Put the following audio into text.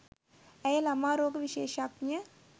ඇය ළමා රෝග විශේෂඥ